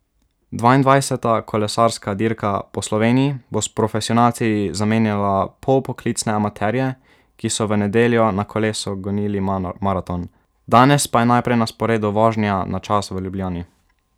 Dvaindvajseta kolesarska dirka po Sloveniji bo s profesionalci zamenjala polpoklicne amaterje, ki so v nedeljo na kolesu gonili maraton, danes pa je najprej na sporedu vožnja na čas v Ljubljani.